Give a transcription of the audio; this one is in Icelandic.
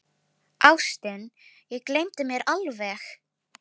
Ástin, ég gleymdi mér alveg!